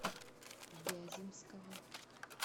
вяземского